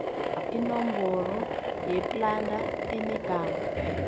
inomboro yeplada enegama